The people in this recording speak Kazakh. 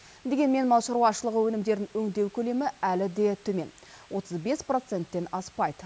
дегенмен мал шаруашылығы өнімдерін өңдеу көлемі әлі де төмен отыз бес проценттен аспайды